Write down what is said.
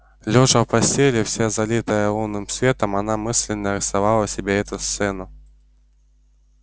лёжа в постели вся залитая лунным светом она мысленно рисовала себе эту сцену